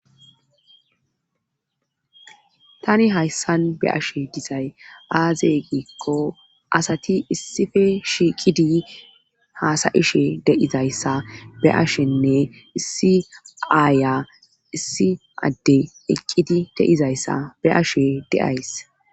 tani hayssan be7ashe dizay aaze giikko asati issife shiiqidi haasayishe de7izayssa be7ashenne issi aaya issi adde eqqidi de7izayssa be7ashe de7ays